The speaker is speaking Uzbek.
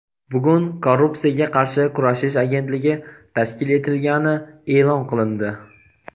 bugun Korrupsiyaga qarshi kurashish agentligi tashkil etilgani e’lon qilindi.